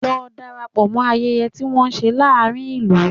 Lọ darapọ̀ mọ ayẹyẹ tí wọ́n ń ṣe láàárín ìlú!